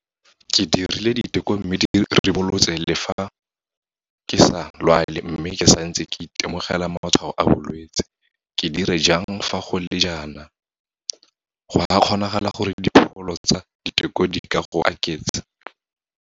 Ke dirile diteko mme di ribolotse fa ke sa lwale mme ke santse ke itemogela matshwao a bolwetse. Ke dira jang fa go le jaana? Go a kgonagala gore dipholo tsa diteko di ka go aketsa.